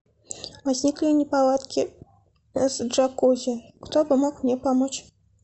возникли неполадки с джакузи кто бы мог мне помочь